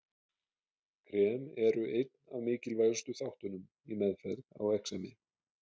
Krem eru einn af mikilvægustu þáttunum í meðferð á exemi.